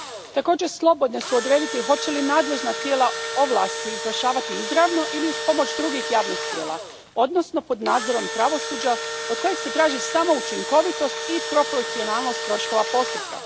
Također, slobodne su odrediti hoće li nadležna tijela ovlasti izvršavati izravno ili uz pomoć drugih javnih tijela, odnosno pod nadzorom pravosuđa, od kojeg se traži samo učinkovitost i proporcionalnost troškova postupka.